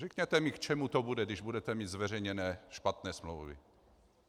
Řekněte mi, k čemu to bude, když budete mít zveřejněné špatné smlouvy.